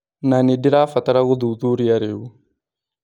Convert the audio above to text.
Na nĩndĩrabatara gũthuthuria rĩu. "